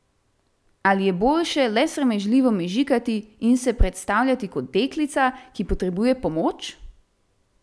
Ali je boljše le sramežljivo mežikati in se predstavljati kot deklica, ki potrebuje pomoč?